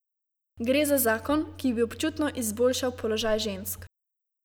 Gre za zakon, ki bi občutno izboljšal položaj žensk.